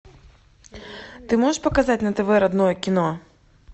ты можешь показать на тв родное кино